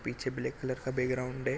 पीछे black colour का background है।